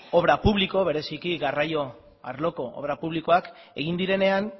obra publiko bereziki garraio arloko obra publikoak egin direnean